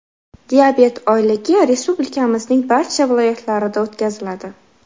Diabet oyligi Respublikamizning barcha viloyatlarida o‘tkaziladi.